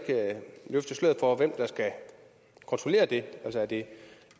løfte sløret for hvem der skal kontrollere det er det